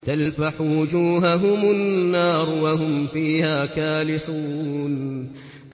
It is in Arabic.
تَلْفَحُ وُجُوهَهُمُ النَّارُ وَهُمْ فِيهَا كَالِحُونَ